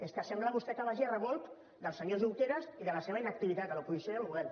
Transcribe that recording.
és que sembla vostè que vagi a remolc del senyor junqueras i de la seva inactivitat a l’oposició i al govern